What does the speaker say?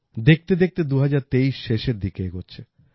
দেখতেদেখতে ২০২৩ শেষের দিকে এগোচ্ছে